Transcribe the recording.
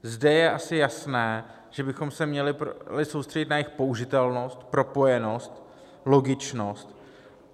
Zde je asi jasné, že bychom se měli soustředit na jejich použitelnost, propojenost, logičnost.